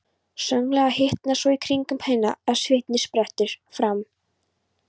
Snögglega hitnar svo í kringum hana að sviti sprettur fram.